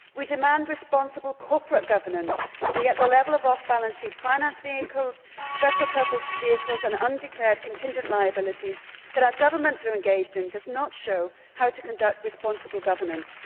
We demand responsible corporate governance and yet the level of off balance sheet finance vehicles, special purpose vehicles and undeclared contingent liabilities that our governments are engaged in does not show how to conduct responsible governance.